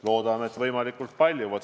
Loodame, et neid on võimalikult palju.